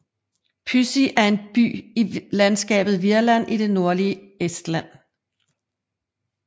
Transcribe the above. Püssi er en by i landskabet Virland i det nordlige Estland